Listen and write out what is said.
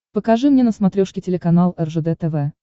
покажи мне на смотрешке телеканал ржд тв